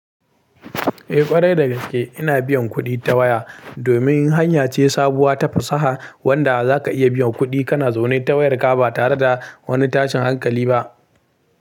Eh ƙwarai dagaske ina biyan kuɗi ta waya, domin hanya ce sabuwa ta fasaha wadda za ka iya biyan kuɗi kana zaune ta wayarka ba tare da wani tashin hankali ba.